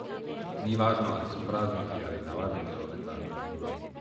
Ni važno ali so prazniki ali navaden deloven dan.